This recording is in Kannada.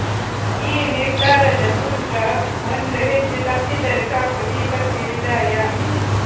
ಈ ನಿರ್ಧಾರದ ಸೂತ್ರ ಒಂದು ಹೆಜ್ಜೆ ತಪ್ಪಿದರೆ ಸಾಕು ದೀಪಕ್ಕೆ ವಿದಾಯ